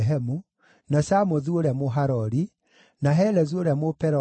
na Shamothu ũrĩa Mũharori, na Helezu ũrĩa Mũpeloni,